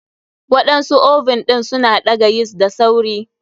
Waɗansu oven ɗin suna ɗaga yeast da sauri.